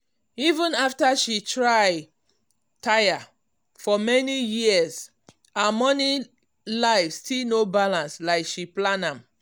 even after she try tire for many years um her money life still no balance like she plan am.